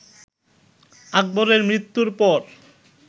আকবরের মৃত্যুর পর